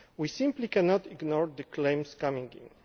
We simply cannot ignore the claims coming in.